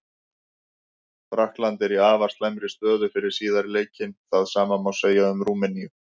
Frakkland er í afar slæmri stöðu fyrir síðari leikinn, það sama má segja um Rúmeníu.